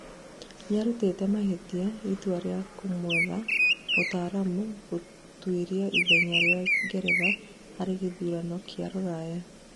nĩarũtĩte mahĩtia itua rĩa kumwetha mũtaramu gũtũĩria ithenya rĩa ngeretha harĩ gĩthurano kia rũraya